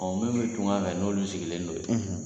Ɔ minnu bɛ tunga fɛ n'olu sigilen don yen